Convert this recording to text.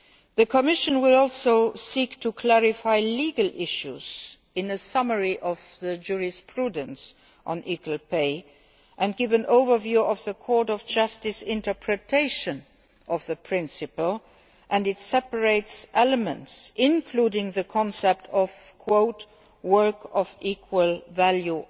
gap. The Commission will also seek to clarify legal issues in a summary of the jurisprudence on equal pay and give an overview of the Court of Justice interpretation of the principle and its separate elements, including the concept of work of equal value',